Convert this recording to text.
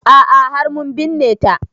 A'a har mun binne ta